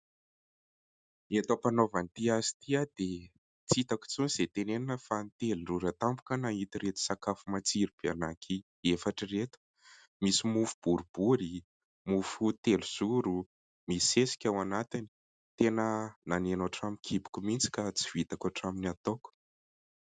Eto am-panaovana ity asa ity aho dia tsy hitako intsony izay tenenina fa nitelin-drora tampoka aho nahita ireto sakafo matsiro be anankiefatra ireto. Misy mofo boribory, mofo telozoro, misy sesika ao anatiny. Tena naneno hatramin'ny kiboko mihitsy ka tsy vitako hatramin'ny ataoko.